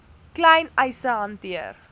klein eise hanteer